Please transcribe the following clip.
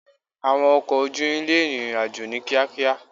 Àwọn ọkọ̀ ojú irin lè rin ìrìn àjò ní kíákíá.